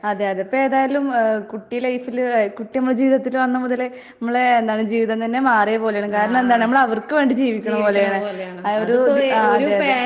അതെ അതെ ഇപ്പേതായാലും ഏഹ് കുട്ടി ലൈഫില് ഏഹ് കുട്ടി ഇമ്മടെ ജീവിതത്തില് വന്ന മുതലേ ഇമ്മളേ എന്താണ് ജീവിതം തന്നെ മാറിയ പോലാണ്. കാരണം എന്താ നമ്മളവർക്ക് വേണ്ടി ജീവിക്കണ പോലെയാണ്. ആഹ് ഒരൂ അഹ് അതെ അതെ.